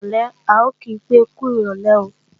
Ní ìrọ̀lé, ń ò kí pé, "kú rọ̀lé o"